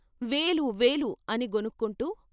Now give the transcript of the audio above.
వేలు వేలు అని గొణుక్కుంటూ.